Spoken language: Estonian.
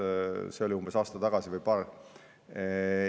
See oli umbes aasta või paar tagasi.